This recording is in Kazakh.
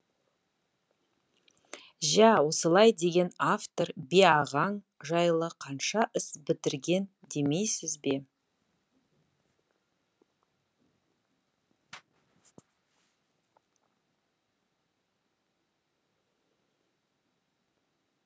жә осылай деген автор би ағаң жайлы қанша іс бітірген демейсіз бе